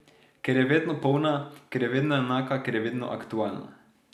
Ker je vedno polna, ker je vedno enaka, ker je vedno aktualna.